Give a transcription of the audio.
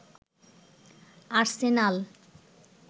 Arsenal